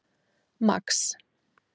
Max